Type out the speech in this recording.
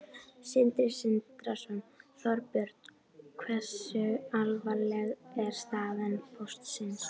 Sindri Sindrason: Þorbjörn, hversu alvarleg er staða Póstsins?